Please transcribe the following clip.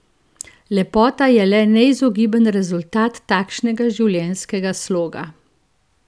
Lepota je le neizogiben rezultat takšnega življenjskega sloga!